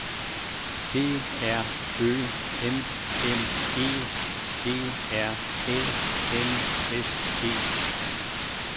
D R Ø M M E G R Æ N S E